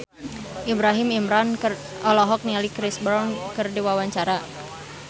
Ibrahim Imran olohok ningali Chris Brown keur diwawancara